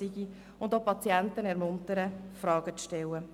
Zudem ist es wichtig, die Patienten dazu zu ermuntern, Fragen zu stellen.